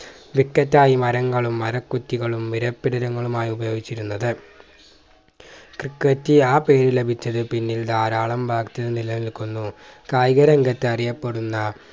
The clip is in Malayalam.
wicket ആയി മരങ്ങളും മരക്കുറ്റികളും വീരപ്പിടിലങ്ങളുമായി ഉപയോഗിച്ചിരുന്നത് ക്രിക്കറ്റ് ആ പേര് ലഭിച്ചത് പിന്നിൽ ധാരാളം വാദം നിലനിൽക്കുന്നു കായിക രംഗത്ത് അറിയപ്പെടുന്ന